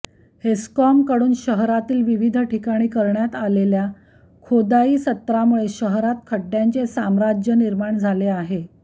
हेस्कॉमकडून शहरातील विविध ठिकाणी करण्यात आलेल्या खोदाईसत्रामुळे शहरात खड्डय़ांचे साम्राज्य निर्माण झाले आहे